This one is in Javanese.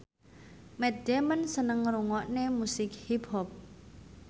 Matt Damon seneng ngrungokne musik hip hop